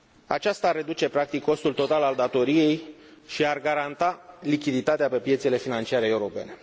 Aceasta ar reduce, practic, costul total al datoriei și ar garanta lichiditatea pe piețele financiare europene.